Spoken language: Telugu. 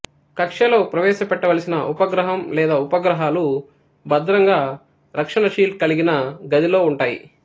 కక్ష్యలో ప్రవేశపెట్టవలసిన ఉపగ్రహం లేదా ఉపగ్రహాలు భద్రంగా రక్షణ షీల్డ్ కలిగిన గదిలో ఉంటాయి